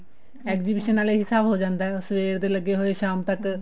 exhibition ਦਾ ਇਹ ਹਿਸਾਬ ਹੋ ਜਾਂਦਾ ਸਵੇਰ ਦੇ ਲੱਗੇ ਹੋਏ ਸ਼ਾਮ ਤੱਕ